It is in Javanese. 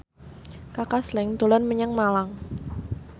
Kaka Slank dolan menyang Malang